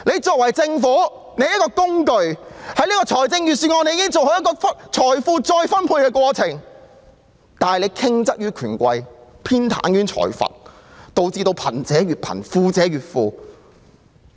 作為政府，理應善用預算案這個工具做好財富再分配的工作，但我們的政府卻向權貴傾斜，偏袒財閥，導致貧者越貧、富者越富。